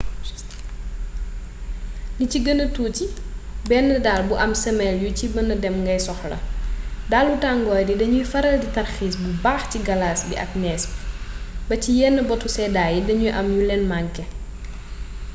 li ci gëna tuuti benn dàll bu am sëmel yu ci mëna dem ngay soxla dalu tangoor yi dañuy faral di tarxiis bu baax ci galaas bi ak nees bi ba ci yeen botu séddaay yi dañu am yu leen manké